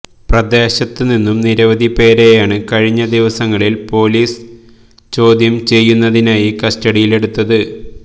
പ്രദേശത്ത് നിന്നും നിരവധി പേരെയാണ് കഴിഞ്ഞ ദിവസങ്ങളിൽ പൊലീസ് ചോദ്യം ചെയ്യുന്നതിനായി കസ്റ്റഡിയിലെടുത്തത്